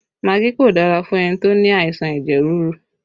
Magí kò dára fún ẹni tó ní àìsàn ẹ̀jẹ̀ ríru